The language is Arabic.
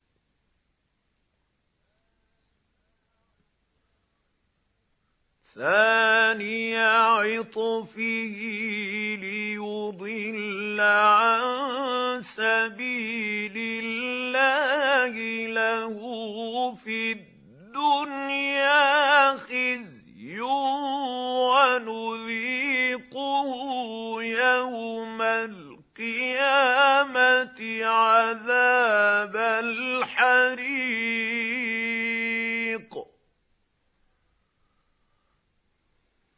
ثَانِيَ عِطْفِهِ لِيُضِلَّ عَن سَبِيلِ اللَّهِ ۖ لَهُ فِي الدُّنْيَا خِزْيٌ ۖ وَنُذِيقُهُ يَوْمَ الْقِيَامَةِ عَذَابَ الْحَرِيقِ